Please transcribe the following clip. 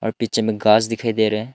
Picture में घास दिखाई दे रहा है।